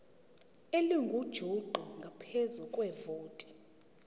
elingujuqu ngaphezu kwevoti